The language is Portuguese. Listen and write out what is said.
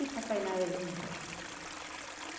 E papai nada de ir embora.